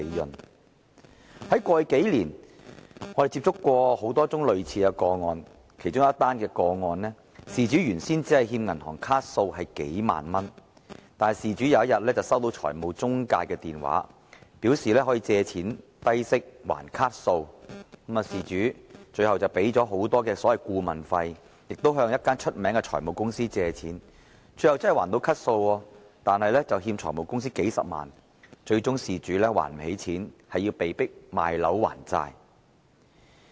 我們在過去數年曾接獲多宗類似個案，其中一宗個案，事主原本只欠銀行數萬元卡數，某天他收到財務中介的電話，表示可以低息借錢讓他償還卡數，最後事主付出了高昂的顧問費，向一間著名的財務公司借貸，最後真的清還了卡數，卻欠下財務公司數十萬元，最終無法還款，被迫賣樓還債。